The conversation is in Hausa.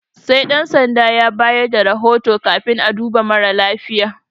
Sai Ɗan sandan ya bayar da rahoto kafin a duba mara lafiyan.